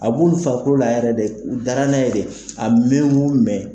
A b'u fakolola yɛrɛ de, u da la n'a ye de a mɛn o mɛn.